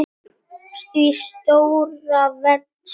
Því stóra svelli.